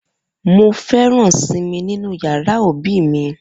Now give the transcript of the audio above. Mo feran simi ninu yara obi mi.